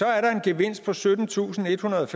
er der en gevinst på syttentusinde og ethundrede